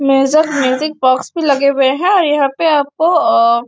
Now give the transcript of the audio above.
music music box भी लगे हुए है और यहाँ पे आप को अ --